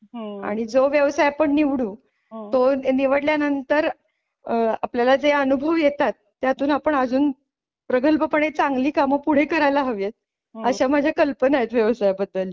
आणि जो व्यवसाय आपण निवडू तो निवडल्या नंतर अ आपल्याला जे अनुभव येतात त्यातून आपण अजून प्रगल्भपणे चांगली कामे पुढे करायला हवेत. अशा माझ्या कल्पना आहेत व्यवसायाबद्दलच्या.